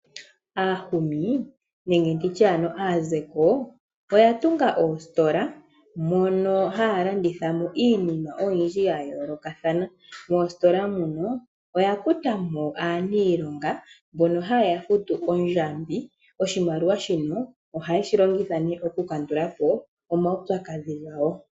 Aahumi nenge nditye ano aazeko oya tunga oositola mono haya landitha mo iinima oyindji ya yoolokathana. Moositola muno oya kuta mo aaniilonga mbono haye ya futu oondjambi. Oshimaliwa shino ohaye si longitha nee okukandula po omaupyakadhi gawo.